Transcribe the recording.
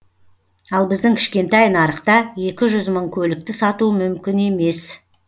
ал біздің кішкентай нарықта екі жүз мың көлікті сату мүмкін емес